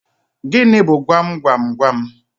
Gịnị bu gwam gwam gwam?